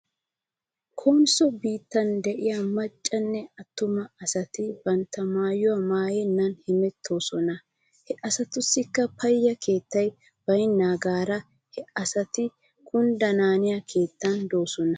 Konsso biittan de'iyaa maccanne attuma asati bantta maayuwaa maayenna hemetoosona. He asatussikka payye keettay baynaagaara he asati kunddanaaniyaa keettan de'oosona